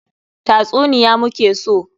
Tatsuniya mu ke so!